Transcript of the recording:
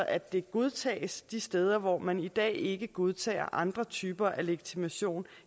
at det godtages de steder hvor man i dag ikke godtager andre typer af legitimation